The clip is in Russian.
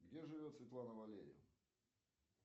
где живет светлана валерьевна